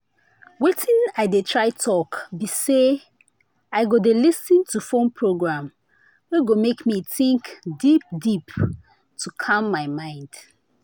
watin i dey try talk be say i go dey lis ten to phone program wey go make me think deep deep to calm my mind.